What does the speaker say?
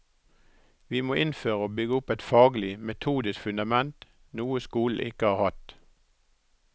Vi må innføre og bygge opp et faglig, metodisk fundament, noe skolen ikke har hatt.